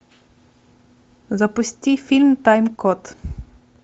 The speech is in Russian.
запусти фильм тайм код